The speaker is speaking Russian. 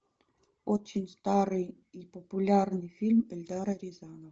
очень старый и популярный фильм эльдара рязанова